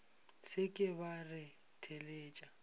se ke wa re theletša